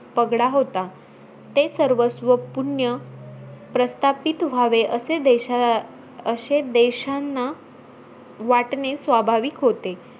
पगडा होता. ते सर्वस्व पुण्य प्रस्थापित व्हावे असे देश अं असे देशांना वाटणे स्वाभाविक होते.